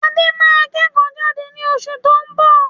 Adé máa kẹ́kò jade ni osù to n bọ̀